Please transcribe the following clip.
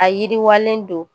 A yiriwalen don